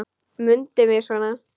Mundu mig svona.